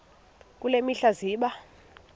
kule mihla zibe